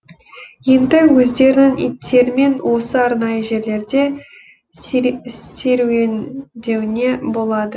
енді өздерінің иттерімен осы арнайы жерлерде серуендеуіне болады